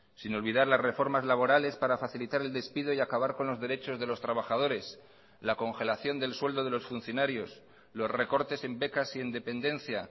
sin olvidar las reformas laborales para facilitar el despido y acabar con los derechos de los trabajadores la congelación del sueldo de los funcionarios los recortes en becas y en dependencia